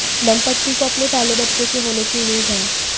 दंपति को अपने पहले बच्चे के होने की उम्मीद है